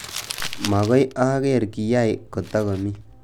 Mokoi aker kiyai kotok komii